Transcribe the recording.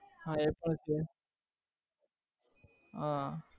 હા એ પણ છે હા